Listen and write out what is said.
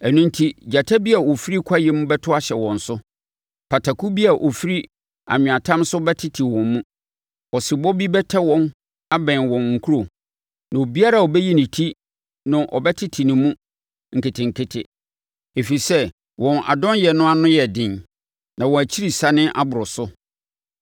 Ɛno enti gyata bi a ɔfiri kwaeɛm bɛto ahyɛ wɔn so, pataku bi a ɔfiri anweatam so bɛtete wɔn mu. Ɔsebɔ bi bɛtɛ wɔn abɛn wɔn nkuro na obiara a ɔbɛyi ne ti no ɔbɛtete ne mu nketenkete, ɛfiri sɛ wɔn adɔnyɛ no ano yɛ den na wɔn akyirisane aboro so.